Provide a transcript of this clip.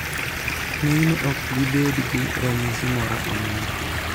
ng'enyne ok gibed gi ranyisi moro amora